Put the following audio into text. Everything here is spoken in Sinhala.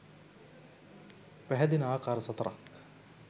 පැහැදෙන ආකාර සතරක්